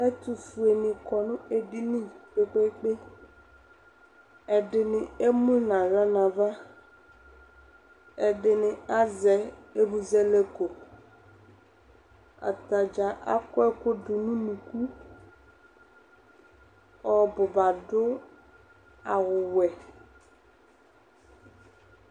Ɛtofue ne lɔ ne dini kpekpe ɛdene emu nahla nava, ɛdene azɛ emuzɛlɛkoAta dza akɔ ɛku do no unuku Ɔbuba adu awuwɛ